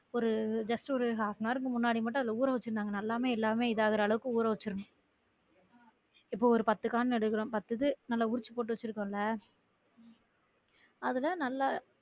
ஒரு just ஒரு half an hour கு முன்னாடி மட்டும் அத ஊற வச்சிருந்தாங்க நல்லவே எல்லாமே இதாகுற அளவுக்கு ஊற வச்சிரணும் இப்ப ஒரு பத்து காண் எடுக்குறோம் பத்து இது நல்ல உருச்சி போட்டு வச்சிருகோம் ல அதுல நல்ல